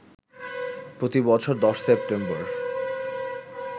প্রতি বছর ১০ সেপ্টেম্বর